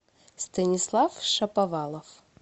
станислав шаповалов